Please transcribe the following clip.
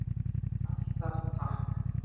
Alltaf takk.